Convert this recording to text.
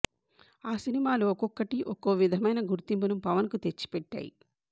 ఆ సినిమాలు ఒక్కొక్కటి ఒక్కో విధమైన గుర్తింపును పవన్కు తెచ్చి పెట్టాయి